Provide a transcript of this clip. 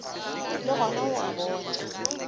le gona o a bona